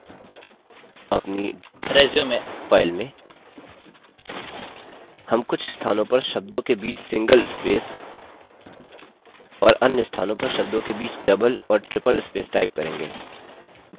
अपनी resume file में हम कुछ स्थानों पर शब्दों के बीच single spaces और अन्य स्थानों पर शब्दों के बीच double और triple spaces type करेंगे